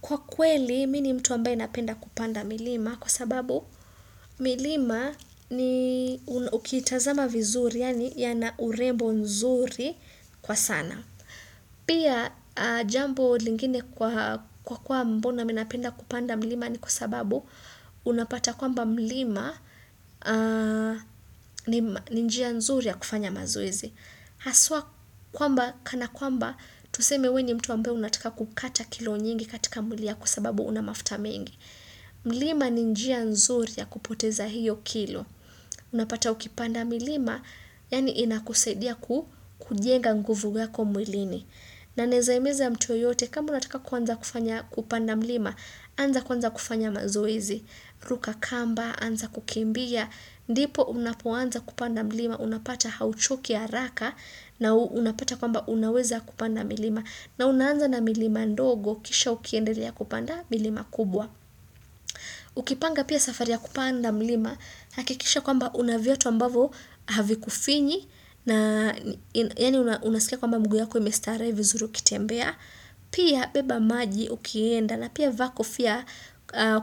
Kwa kweli, mini mtu ambae napenda kupanda milima kwa sababu milima ni ukitazama vizuri, yana urembo nzuri kwa sana. Pia, jambo lingine kwa kwambo na minapenda kupanda milima ni kwa sababu. Unapata kwamba milima. Ni njia nzuri ya kufanya mazoezi. Haswa kwamba, kana kwamba, tuseme we ni mtu ambae unataka kukata kilo nyingi katika mwili kwa sababu unamafta mengi. Mlima ni njia nzuri ya kupoteza hiyo kilo. Unapata ukipanda milima, yani inakusedia kujenga nguvu gako mwilini. Na naeza himeza mtu yoyote, kama unatika kwanza kupanda milima, anza kwanza kupanda milima, anza kwanza kufanya mazoezi. Ruka kamba, anza kukimbia Ndipo unapoanza kupanda milima Unapata hauchoki ya raka na unapata kwamba unaweza kupanda milima na unanza na milima ndogo Kisha ukiendeli ya kupanda milima kubwa. Ukipanga pia safari ya kupanda milima hakikisha kwamba una viatu ambavo Havi kufinyi. Na yani unasikia kwamba mguu yako ime starai vizuri ukitembea. Pia beba maji ukienda na pia vakofia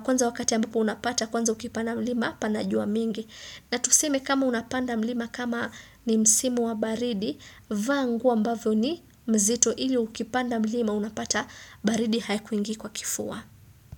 Kwanza wakati ambapo unapata kwanza ukipanda mlima panajua mingi na tuseme kama unapanda mlima kama ni msimu wa baridi. Va nguo ambavyo ni mzito ili ukipanda mlima unapata baridi haiku ingi kwa kifua.